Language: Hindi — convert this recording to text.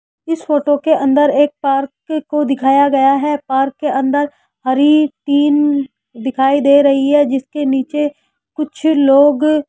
इस फोटो के अंदर एक पार्क को दिखाया गया है पार्क के अंदर हरि तीन दिखाई दे रही है जिसके नीचे कुछ लोग --